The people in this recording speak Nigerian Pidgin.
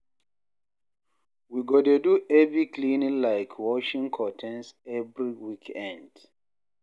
We go dey do heavy cleaning like washing curtains every weekend.